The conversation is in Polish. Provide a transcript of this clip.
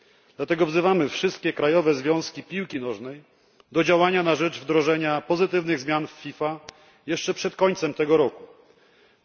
Dlatego wzywamy wszystkie krajowe związki piłki nożnej do działania na rzecz wdrożenia pozytywnych zmian w FIFA jeszcze przed końcem 2016 roku.